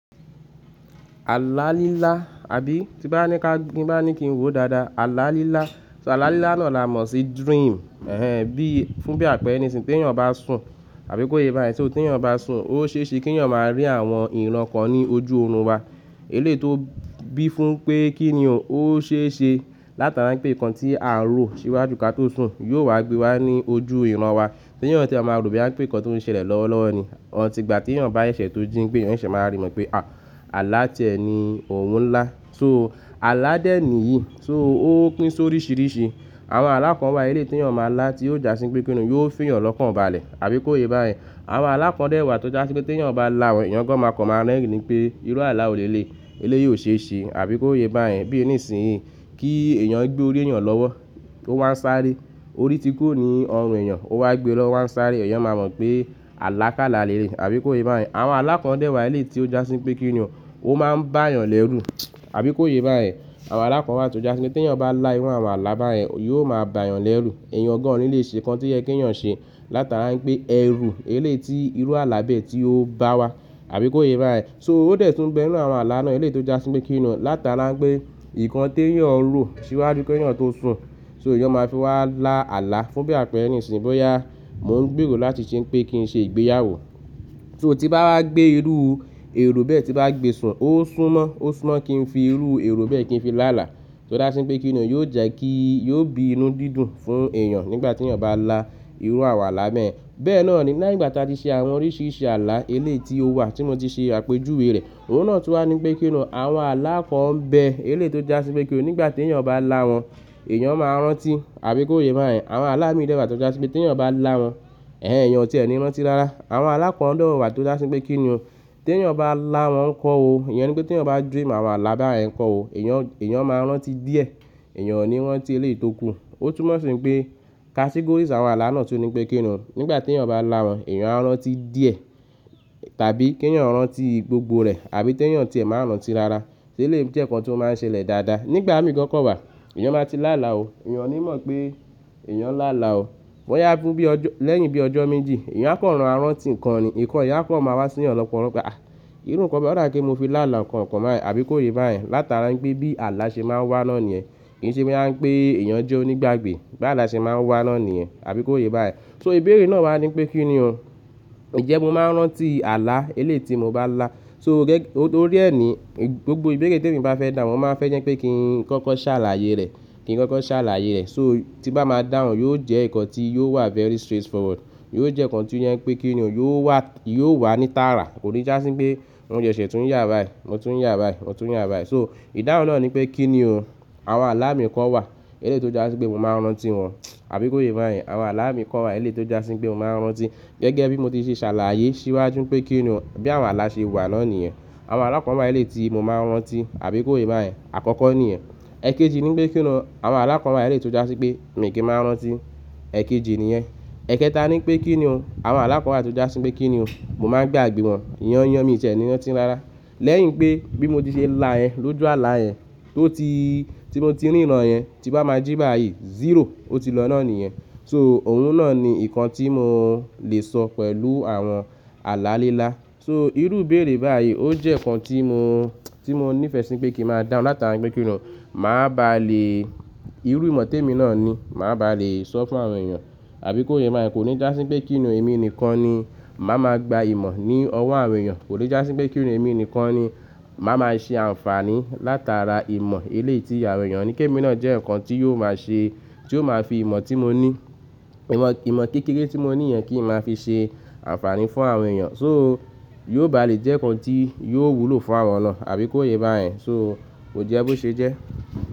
Àlá lílá àbí tí bá ní ká kí bá ní kí n wò dáadáa, àlá lílá. So àlá lílá náà là mọ̀ sí dream, bí fún bí àpẹ́ẹ̀rẹ̀ nísìnyí tí èèyàn bá sùn àbí kó yé bá yẹn tí èèyàn bá sùn, ó ṣe é ṣe kí èèyàn máa rí àwọn ìran kan ní ojú oorun wa. Eléyìí tó bí fún pé kí ni ó ṣe ṣe látara pé nǹkan tí a ń rò síwájú kí a tó sùn yóò wá gbé wa ní ojú ìran wa. Tí èèyàn tí a máa rò bóyá wípè nǹkan tó ń ṣẹlẹ̀ lọ́wọ́lọ́wọ́ ni, until ìgbà tí èyàn bá ṣeṣẹ̀ tó jí pé èèyàn ṣeṣẹ̀ máa rí mọ̀ pé ààlà tie ni òun ńlá. So ààlà de nìyí, so ó pín sóríṣìíríṣi. Àwọn alá kàn wá eléyìí tí èèyàn máa lá tí ó jásí pé kíni yóò fìyàn lọ́kan ba lẹ̀ àbí kó yé bá yẹn. Àwọn alákàn dẹ́wà tó jásí pé tí èèyàn bá lá wọn èèyàn gaan máa kọ̀ máa rẹ́rìn nípé irú àlá wò léléyì, eléyìí ò ṣe ṣe àbí kó yé bá yẹn. Bí nísìnyí kí èèyàn gbé orí èèyàn lọ́wọ́ kó wá ń sáré, orí tí kúrò ní ọrùn èèyàn ó wá gbé lọ́wọ́ o wá ń sáré èèyàn máa mọ̀ pé àlá ká là léléyì, àbí kó yé bá yẹn. Àwọn alákàn dẹ́wà eléyìí tí ó jásí pé kí ni òun ó máa ń bá èèyàn lẹ́rù àbí kó yé bá yẹn. Àwọn alá kan wá tó jásí pé tí èèyàn bá lá irú àwọn àlá bá yẹn yóò máa bá èèyàn lẹ́rù. Èèyàn gaan ò ní lè ṣe nǹkan tí ó yẹ kí èèyàn ṣe látara pé ẹrú eléyìí tí irú àlá bẹ́ẹ̀ tí ó bá wa àbí kó yé bá yẹn. So ó dẹ̀ tún bẹ inú àwọn àlá náà eléyìí tó jásí pé kíni látara pé nǹkan tí èèyàn ń rò síwájú kí èèyàn tó sùn so èèyàn máa fi wá lá àlá fún bí àpẹ́ẹ̀rẹ́ nísìnyí bóyá mò ń gbèrò láti ṣe pé kí n ṣe ìgbéyàwó. So tí bá wá gbé irú èrò bẹ́ẹ̀ tí bá gbe sùn ó súnmọ́, ó súnmọ́ kí n fi irú èrò bẹ́ẹ̀ kí n fi lá àlá. So já sí pé kíni yóò jẹ́ kí yóò bí inú dídùn fún èèyàn nígbà tí èèyàn bá lá irú àwọn àlá bẹ́ẹ̀. Bẹ́ẹ̀ náà ni lẹ́yìn ìgbà tí a ti ṣe àwọn oríṣìíríṣi àlá eléyìí tí ó wà tí mo ti ṣe àpèjúwe rẹ̀, òun náà tún wá ní pé kíni àwọn alá kan ń bẹ eléyìí tó jásí pé kíni nígbà tí èèyàn bá láwọn èèyàn máa rántí àbí kó yé bá yẹn. Àwọn aalá mìí dẹ́ wà tó jásí pé tí èèyàn bá lá wọn, èèyàn ọ̀tí ẹ́ ni rántí rárá. Àwọn alá kàn dewà tó jásí pé kíni tí èèyàn bá lá wọn ńkọ́ o, ìyẹn ni pé tí èèyàn bá dream àwọn àlá bá yẹn ńkọ́ o, èèyàn, èèyàn máa rántí díẹ̀, èèyàn ò ní rántí eléyìí tó kú. Ó túmọ̀ sí pé categories àwọn àlá náà tó ní pé kíni nígbà tí èèyàn bá lá wọn èèyàn á rántí díẹ̀ tàbí kí èèyàn rántí gbogbo rẹ̀ àbí kí èèyàn ọ̀tí ẹ́ máa rántí rárá. Tí eléyìí jẹ́ nǹkan tí o máa ń ṣẹlẹ̀ dáadáa. Nígbà mí gaan ke wà èèyàn máa ti lá àlá o, èèyàn ò ní mọ̀ pé èèyàn lá àlá o. Bóyá fún bí lẹ́yìn bí ọjọ́ méjì èèyàn á kàn máa rántí nǹkan ni, nǹkan yẹn á kàn máa wá sí èèyàn lọ́pọ̀lo pe ah irú nǹkan báyì ó dà bí pé mo fi lá àlá nǹkan kan bàyẹn, àbí kó yé bá yẹn látara pé bí àlá ṣe máa ń wá nóòní yẹn. Kì í ṣe bóyá wípé èèyàn jẹ́ onígbàgbé, bí àlá ṣe máa ń wá nóòní yẹn, àbí kó yé bá yẹn. So ìbéèrè náà wá ní pé kíni, ǹjẹ́ mo máa ń rántí àlá eléyìí tí mo bá lá? So torí ẹ̀ ni gbogbo ìbéèrè tí èmi bá fẹ́ dáhun, mo ń máa fẹ́ jẹ́ pé kí n kọ́kọ́ ṣàlàyé rẹ̀, kí n kọ́kọ́ ṣàlàyé rẹ̀. So tí bá máa dáhùn yóò jẹ́ nǹkan tí yóò wà very straightforward. Yóò jẹ́ nǹkan tí ó jẹ́ pé kíni, yóò wà ní tààrà. Kò ní jásí pé mo sẹ́sẹ́ tún ya báyyì, mo tún ya báyì, mo tún yà báyì. So ìdáhùn náà ni pé kíni àwọn alámìí kọ́ wà eléyìí tó jásí pé mo máa ń rántí wọn, àbí kó yé bá yẹn. Àwọn alá mìí kọ́ wà eléyìí tó jásí pé mo máa ń rántí gẹ́gẹ́ bí mo ti ṣe ṣàlàyé ṣíwájú pé kíni bí àwọn àlá ṣe wà nóòní yẹn. Àwọn alákàn wá eléyìí tí mo máa ń rántí àbí kó yé bá yẹn àkọ́kọ́ ni ẹ. Ẹ̀kejì ni pé kíni àwọn aalá kàn wá eléyìí tó jásí pé mi kí n máa ń rántí, ẹ̀kejì ni yẹn. Ẹ̀kẹta ni pé kíni àwọn aalá kàn wá tó jásí pé kíni mo máa ń gbàgbé wọn, yaanyan mi ò tie ni rántí rárá. Lẹ́yìn pé bí mo ti ṣe lá yẹn lójú àlá yẹn, tó ti tí mo ti rí ìran yẹn tí bá máa jí bá yẹn zero ó ti lọ́ nóòní yẹn. So òun náà ni nǹkan tí mo lè sọ pẹ̀lú àwọn àlá lílá. So irú ìbéèrè báyìí ó jẹ́ nǹkan tí mo, tí mo ní ìfẹ́ sí pé kí n máa dáhùn látara pé kíni màá ba lè irú ìmọ̀ tèmi náà ni màá ba lè sọ fún àwọn èèyàn àbí kó yé bá yẹn. Kò ní jásí pé kí ni òun èmi nìkan ni màá máa gba ìmọ̀ ní ọwọ́ àwọn èèyàn. Kò ní jásí pé kí ni òun èmi nìkan ni màá máa ṣe àǹfààní látara ìmọ̀ eléyìí tí o maa fi ìmọ̀ tí mo ní, ìmọ̀ kékeré tí mo ní yẹn, kí maa fi ṣe ànfàní fún àwọn èèyàn, yóò bá lè jẹ́ ǹkan tí yó wúlò fún àwọn náà, àbí kò yẹ.